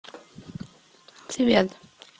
привет